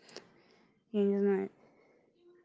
я не знаю